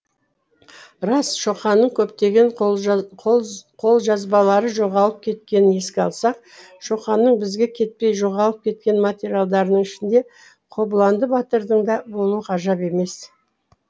рас шоқанның көптеген қолжазбалары жоғалып кеткенін еске алсақ шоқанның бізге кетпей жоғалып кеткен материалдарының ішінде қобыланды батырдың да болуы ғажап емес